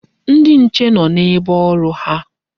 Ndi nche nọ n'ebe ọrụ ha.